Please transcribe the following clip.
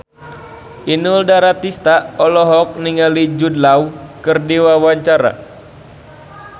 Inul Daratista olohok ningali Jude Law keur diwawancara